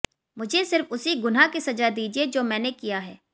मुझे सिर्फ उसी गुनाह की सजा दीजिए जो मैंने किया है